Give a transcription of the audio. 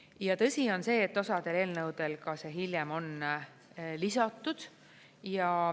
Ja tõsi on see, et osal eelnõudel see hiljem on lisatud.